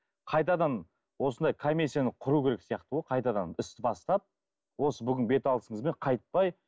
қайтадан осындай комиссияны құру керек сияқты ғой қайтадан істі бастап осы бүгін беталысымызбен қайтпай